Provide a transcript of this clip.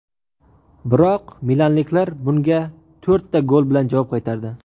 Biroq milanliklar bunga to‘rtta gol bilan javob qaytardi.